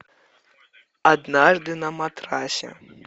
однажды на матрасе